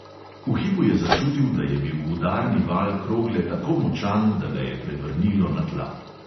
V hipu je začutil, da je bil udarni val krogle tako močan, da ga je prevrnilo na tla.